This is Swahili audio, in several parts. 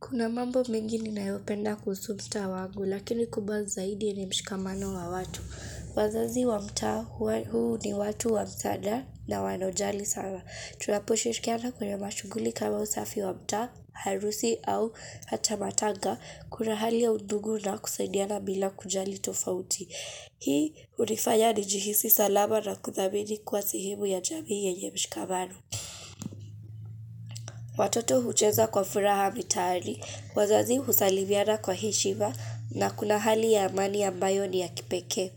Kuna mambo mingi ninayopenda kuhusu msta wangu, lakini kubazi zaidi ni mshikamano wa watu. Wazazi wa mtaa huu ni watu wa msaada na wanaojali sana. Tunaposhirikiana kwenye mashuguli kama usafi wa mtaa, harusi au hata matanga. Kuna hali ya udugu na kusaidiana bila kujali tofauti. Hii hunifanya nijihisi salama na kuthamini kuwa sehemu ya jamii yenye mshikamano. Watoto hucheza kwa furaha mitaani. Wazazi husalimiana kwa heshima na kuna hali ya amani ambayo ni ya kipekee.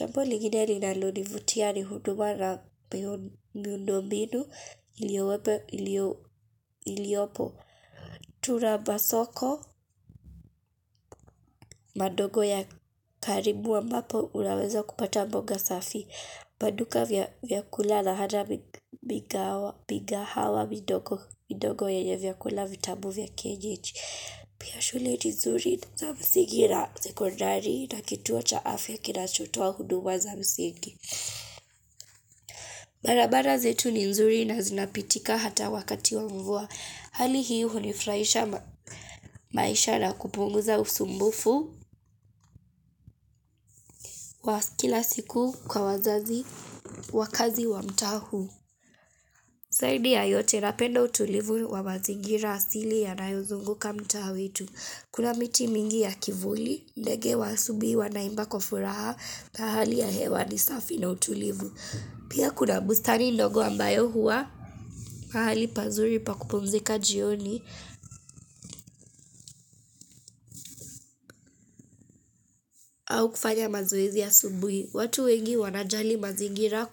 Jambo ligine linalonivutia ni huduma na miundo binu iliopo. Tuna masoko madogo ya karibu ambapo unaweza kupata mboga safi. Maduka vyakulala hada migahawa midogo ya vyakula vitamu vya kienyeji. Pia shule ni nzuri za misingi na sekondari na kituo cha afya kinachotoa huduma za msingi. Barabara zetu ni nzuri na zinapitika hata wakati wa mvua. Hali hii hunifurahisha maisha na kupunguza usumbufu wa kila siku kwa wazazi wakaazi wa mtaa huu. Zaidi ya yote napenda utulivu wa mazingira asili yanayozunguka mtaa wetu. Kuna miti mingi ya kivuli, ndege wa asubuhi wanaimba kwa furaha na hali ya hewa ni safi na utulivu. Pia kuna bustani ndogo ambayo huwa, mahali pazuri pakupumzika jioni au kufanya mazoezi ya asubuhi. Watu wengi wanajali mazingira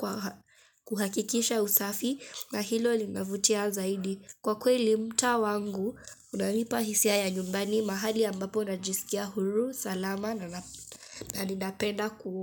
kuhakikisha usafi na hilo linavutia zaidi. Kwa kweli mtaa wangu, unanipa hisia ya nyumbani mahali ambapo najisikia huru, salama na ninapenda kuwa.